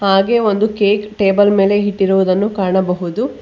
ಹಾಗೆ ಒಂದು cake table ಮೇಲೆ ಇಟ್ಟಿರುವುದನ್ನು ಕಾಣಬಹುದು.